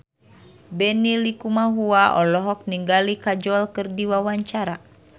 Benny Likumahua olohok ningali Kajol keur diwawancara